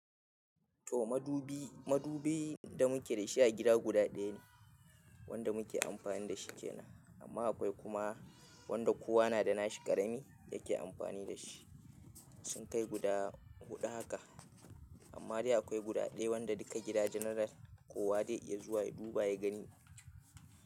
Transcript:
To madubi, madubi da muke da shi a gida guda ɗaya ne wanda muke amfani da shi kenan. Amma akwai kuma wanda kowa na da nashi ƙarami yake amfani da shi. Sun kai guda huɗu haka. Amma dai akwai guda ɗaya wanda duka gida general kowa dai iya zuwa ya duba ya gani.